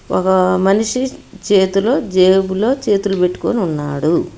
ఒక మనిషి చేతులో జేబులో చేతులు పెట్టుకొని ఉన్నాడు.